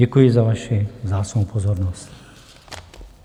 Děkuji za vaši vzácnou pozornost.